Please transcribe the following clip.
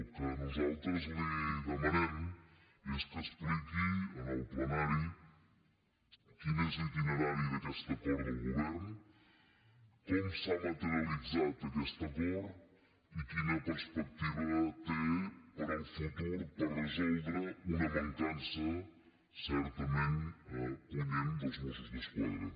el que nosaltres li demanem és que expliqui en el plenari quin és l’itinerari d’aquest acord del govern com s’ha materialitzat aquest acord i quina perspectiva té per al futur per resoldre una mancança certament punyent dels mossos d’esquadra